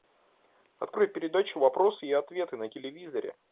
открой передачу вопросы и ответы на телевизоре